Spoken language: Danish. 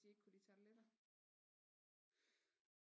De ikke kunne lide tarteletter